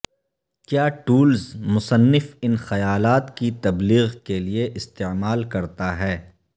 کیا ٹولز مصنف ان خیالات کی تبلیغ کے لئے استعمال کرتا ہے